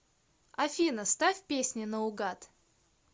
афина ставь песни на угад